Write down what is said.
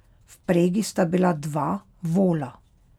V vpregi sta bila dva vola.